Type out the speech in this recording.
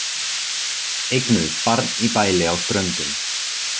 Eignuðust barn í bæli á Ströndum